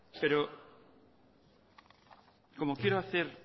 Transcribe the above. pero como quiero hacer